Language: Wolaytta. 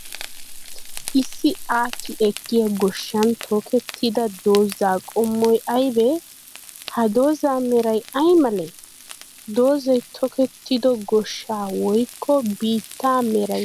Issi aakki ekkiyaa goshshan tokettida dozaa qommoy aybee? Ha dozaa meray ay malee? Dozay tokkettido goshshaa woykko biittaa meray ay malatii?